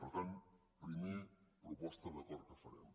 per tant primera proposta d’acord que farem